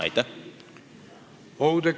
Aitäh!